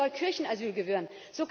sorgen. Die Kirche soll Kirchenasyl